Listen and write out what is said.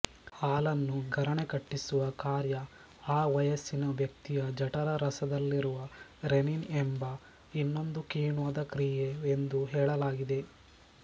ಹಾಲನ್ನು ಗರಣೆ ಕಟ್ಟಿಸುವ ಕಾರ್ಯ ಆ ವಯಸ್ಸಿನ ವ್ಯಕ್ತಿಯ ಜಠರರಸದಲ್ಲಿರುವ ರೆನ್ನಿನ್ ಎಂಬ ಇನ್ನೊಂದು ಕಿಣ್ವದ ಕ್ರಿಯೆ ಎಂದು ಹೇಳಲಾಗಿದೆ